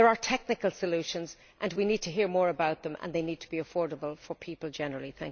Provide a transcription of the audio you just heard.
There are technical solutions and we need to hear more about them and they need to be affordable for people generally.